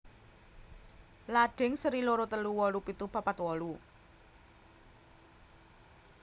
Ladhing seri loro telu wolu pitu papat wolu